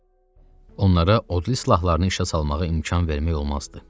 Onlara odlu silahlarını işə salmağa imkan vermək olmazdı.